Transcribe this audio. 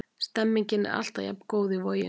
Stemningin er alltaf jafn góð í Voginum.